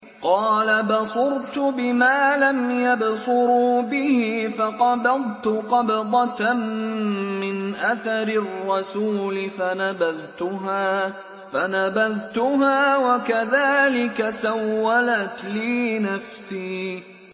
قَالَ بَصُرْتُ بِمَا لَمْ يَبْصُرُوا بِهِ فَقَبَضْتُ قَبْضَةً مِّنْ أَثَرِ الرَّسُولِ فَنَبَذْتُهَا وَكَذَٰلِكَ سَوَّلَتْ لِي نَفْسِي